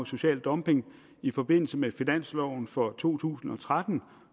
social dumping i forbindelse med finansloven for to tusind og tretten